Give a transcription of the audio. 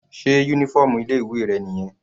Sé uniform ilé ìwé rẹ̀ nìyẹn?